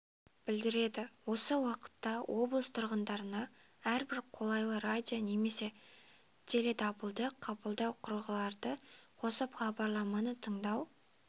білдіреді осы уақытта облыс тұрғындарына әрбір қолайлы радио немесе теледабылды қабылдау құралдарды қосып хабарламаны тындау